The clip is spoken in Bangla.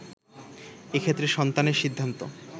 এক্ষেত্রে সন্তানের সিদ্ধান্ত